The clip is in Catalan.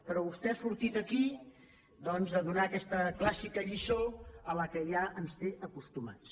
però vostè ha sortit aquí doncs a donar aquesta clàssica lliçó a què ja ens té acostumats